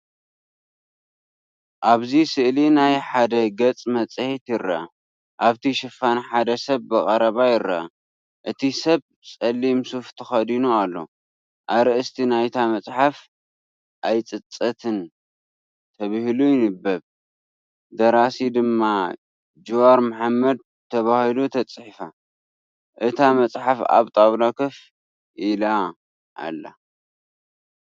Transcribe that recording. ኣብዚ ስእሊ ናይ ሓደ ገጽ መፅሄት ይርአ። ኣብቲ ሽፋን ሓደ ሰብ ብቐረባ ይርአ። እቲ ሰብ ጸሊም ሱፍ ተኸዲኑ ኣሎ። ኣርእስቲ ናይታ መጽሓፍ "ኣይፅፀትን" ተባሂሉ ይንበብ፡ ደራሲ ድማ "ጅዋር መሓመድ" ተባሂሉ ተፃሒፍ። እታ መጽሓፍ ኣብ ጣውላ ኮፍ ኢላ ኣላ።